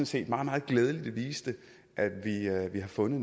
set meget meget glædeligt viste at vi har fundet